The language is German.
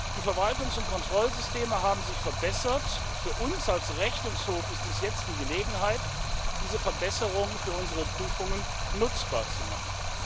Die Verwaltungs und Kontrollsysteme haben sich verbessert für uns als Rechnungshof ist dies jetzt die Gelegenheit, diese Verbesserungen für unsere Prüfungen nutzbar zu machen.